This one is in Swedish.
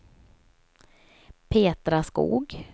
Petra Skog